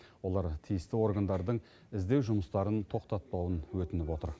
олар тиісті органдардың іздеу жұмыстарын тоқтатпауын өтініп отыр